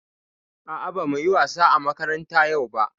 A'a, ba mu yi wasa a makaranta yau ba.